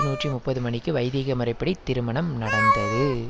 நூற்றி முப்பது மணிக்கு வைதீக முறைப்படி திருமணம் நடந்தது